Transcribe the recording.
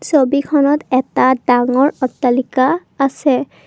ছবিখনত এটা ডাঙৰ অট্টালিকা আছে।